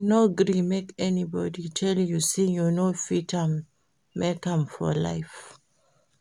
No gree make anybodi tell you sey you no fit make am for life.